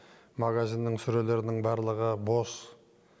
магазиннің сөрелерінің барлығы бос